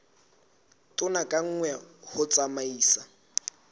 tone ka nngwe ho tsamaisa